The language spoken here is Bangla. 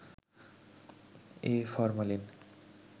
A formalin